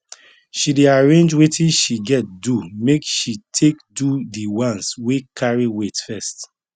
she dey arrange wetin she get do make she take do di ones wey carry weight first